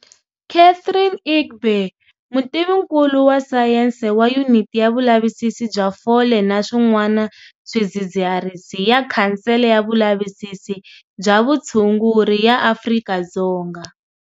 Catherine Egbe, mutivinkulu wa sayense wa Yuniti ya Vulavisisi bya Fole na Swin'wana Swidzidziharisi ya khansele ya vulavisisi bya vutshunguri ya Afrika-Dzonga.